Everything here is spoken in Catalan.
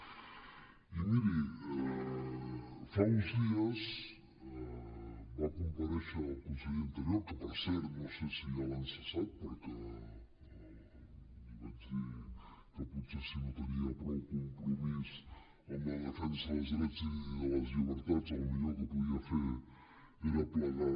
i miri fa uns dies va comparèixer el conseller d’interior que per cert no sé si ja l’han cessat perquè li vaig dir que potser si no tenia prou compromís amb la defensa dels drets i de les llibertats el millor que podia fer era plegar